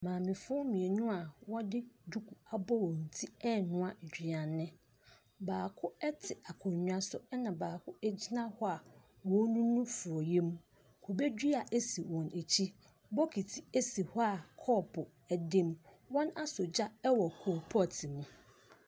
Maamefoɔ mmienu a wɔde duku abɔ wɔn ti renoa aduane. Baako te akonnwa so na baako gyina hɔ a ɔrenunu forɔeɛ mu. Kubedua si wɔn akyi. Bokiti si hɔ a kɔpu da mu. Wɔasɔ gya wɔ coal pot no mu.